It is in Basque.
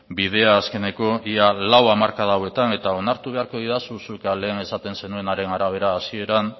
bidea azkeneko ia lau hamarkada hauetan eta onartu beharko didazu zuk lehen esaten zenuenaren arabera hasieran